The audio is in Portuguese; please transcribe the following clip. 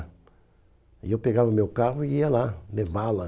E eu pegava meu carro e ia lá levá-la.